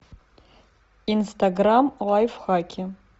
инстаграм лайфхаки